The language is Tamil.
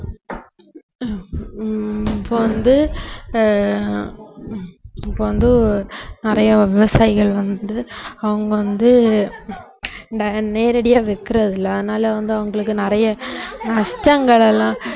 ஹம் இப்ப வந்து ஆஹ் இப்ப வந்து நிறைய விவசாயிகள் வந்து அவங்க வந்து dire~ நேரடியா விக்கிறதில்லை அதனால வந்து அவங்களுக்கு நிறைய நஷ்டங்கள் எல்லாம்